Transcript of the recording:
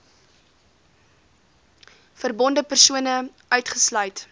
verbonde persone uitgesluit